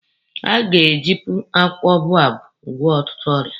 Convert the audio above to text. A ga-ejipu akwụkwọ boababụ agwọ ọtụtụ ọrịa.